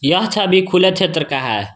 यह छवि खुला क्षेत्र का है।